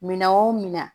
Minɛn o minɛn